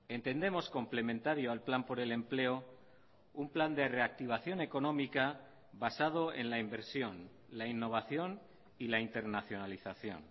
entendemos complementario al plan por el empleo un plan de reactivación económica basado en la inversión la innovación y la internacionalización